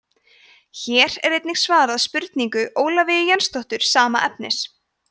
hér er einnig svarað spurningu ólafíu jensdóttur sama efnis